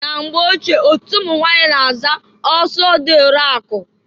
Na mgbe ochie otu ụmụnwanyị na-aza oso dị eri akụ.